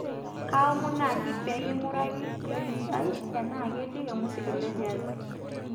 kaaomon naaji peeking'uraki playlist ai enaa ketii olmusiki le jaz